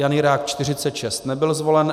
Jan Jirák 46, nebyl zvolen.